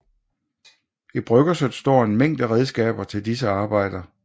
I bryggerset står en mængde redskaber til disse arbejder